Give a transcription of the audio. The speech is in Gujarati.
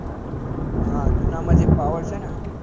હા જુના માં જે power છે ને